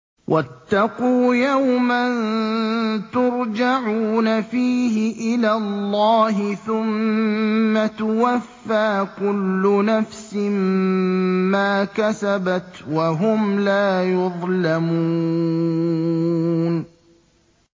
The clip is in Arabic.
وَاتَّقُوا يَوْمًا تُرْجَعُونَ فِيهِ إِلَى اللَّهِ ۖ ثُمَّ تُوَفَّىٰ كُلُّ نَفْسٍ مَّا كَسَبَتْ وَهُمْ لَا يُظْلَمُونَ